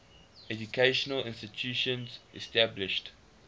educational institutions established